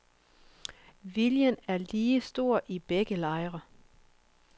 Viljen er lige stor i begge lejre.